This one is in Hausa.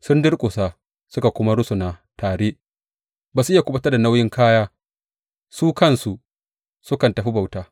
Sun durƙusa suka kuma rusuna tare; ba su iya kuɓutar da nauyin kaya su kansu sukan tafi bauta.